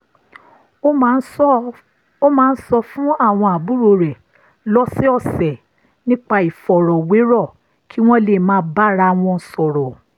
ó máa ń sọ fún àwọn àbúrò rẹ̀ lọ́sọ̀ọ̀sẹ̀ nípa ìfọ̀rọ̀wérọ̀ kí wọ́n lè máa bára wọn sọ̀rọ̀